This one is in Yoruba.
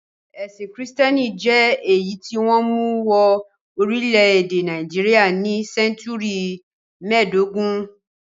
Ẹ̀sìn Kìrìtẹ́ẹ́nì jẹ́ èyí tí wọ́n mú wọ orílẹ̀-èdè Nàìjíríà ní sẹ́ńtúrì mẹ́ẹ̀dógún.